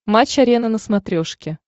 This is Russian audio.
матч арена на смотрешке